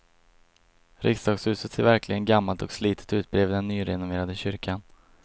Riksdagshuset ser verkligen gammalt och slitet ut bredvid den nyrenoverade kyrkan.